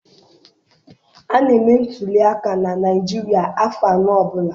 A na-eme ntuliaka na Naịjirịa afọ anọ ọbụla.